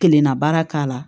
Kelenna baara k'a la